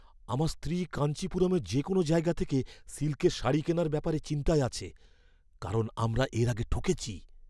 আমার স্ত্রী কাঞ্চিপুরমের যে কোনও জায়গা থেকে সিল্কের শাড়ি কেনার ব্যাপারে চিন্তায় আছে, কারণ আমরা এর আগে ঠকেছি।